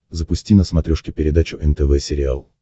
запусти на смотрешке передачу нтв сериал